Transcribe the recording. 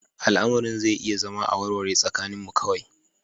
Al'amarin zai iya zama a warware tsakaninmu kawai